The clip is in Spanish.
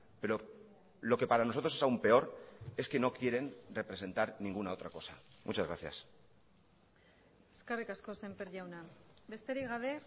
pero lo que para nosotros es aún peor es que no quieren representar ninguna otra cosa muchas gracias eskerrik asko semper jauna besterik gabe